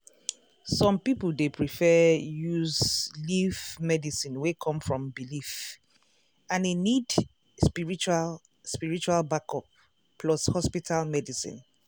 some people dey prefer use leaf medicine wey come from belief and e need spiritual spiritual backup plus hospital medicine.